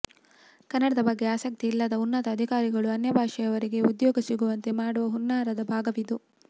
ಕನ್ನಡದ ಬಗ್ಗೆ ಆಸಕ್ತಿ ಇಲ್ಲದ ಉನ್ನತ ಅಧಿಕಾರಿಗಳು ಅನ್ಯಭಾಷೆಯವರಿಗೆ ಉದ್ಯೋಗ ಸಿಗುವಂತೆ ಮಾಡುವ ಹುನ್ನಾರದ ಭಾಗವಿದು